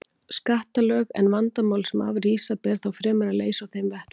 skattalög, en vandamál sem af því rísa ber þá fremur að leysa á þeim vettvangi.